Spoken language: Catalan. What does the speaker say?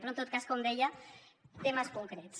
però en tot cas com deia temes concrets